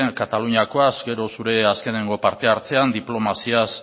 kataluniakoaz gero zure azkeneko parte hartzean diplomaziaz